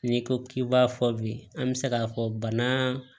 N'i ko k'i b'a fɔ bi an bɛ se k'a fɔ bana